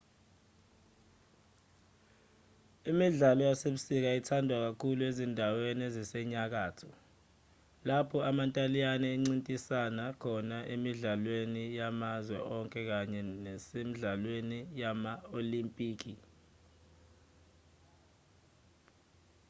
imidlalo yasebusika ithandwa kakhulu ezindaweni ezisenyakatho lapho amantaliyane encintisana khona emidlalweni yamazwe onke kanye nasemidlalweni yama-olimpiki